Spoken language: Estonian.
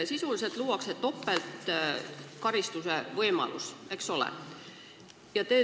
Sisuliselt luuakse ju topeltkaristuse võimalus, eks ole?